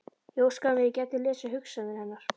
Ég óskaði mér að ég gæti lesið hugsanir hennar.